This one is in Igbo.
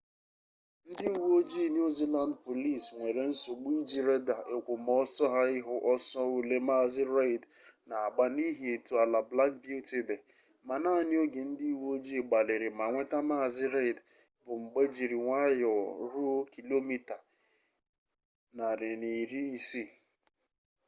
ndị uwe ojii new zealand police nwere nsogbu iji reda èkwòmọsọ ha ịhụ ọsọ ole maazị reid na-agba n’ihi etu ala black beauty dị ma naanị oge ndị uwe ojii gbalịrị ma nweta maazị reid bụ mgbe jiri nwayọọ ruo km/a160